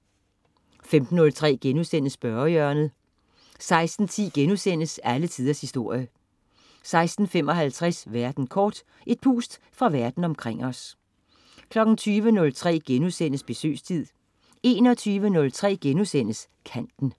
15.03 Spørgehjørnet* 16.10 Alle Tiders Historie* 16.55 Verden kort. Et pust fra verden omkring os 20.03 Besøgstid* 21.03 Kanten*